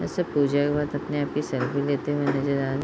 जैसे पूजा हुआ तो सब अपने-आप की सेल्फी लेते हुए नजर आ रहे हैं।